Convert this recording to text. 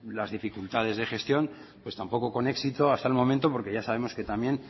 la dificultades de gestión pues tampoco con éxito hasta el momento porque ya sabemos que también